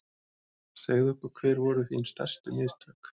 Segðu okkur hver voru þín stærstu mistök?